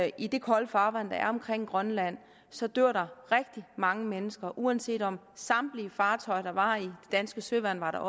i det kolde farvand der er omkring grønland så dør der rigtig mange mennesker uanset om samtlige fartøjer der var i det danske søværn var